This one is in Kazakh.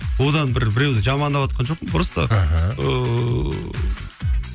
одан бір біреуді жамандаватқан жоқпын просто мхм ыыы